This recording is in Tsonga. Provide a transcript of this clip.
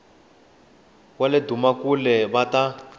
va le dumakule va ta